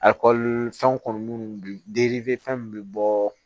fɛnw kɔni munnu fɛn min bɛ bɔɔ